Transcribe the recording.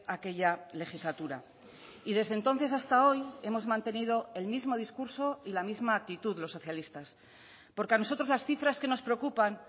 aquella legislatura y desde entonces hasta hoy hemos mantenido el mismo discurso y la misma actitud los socialistas porque a nosotros las cifras que nos preocupan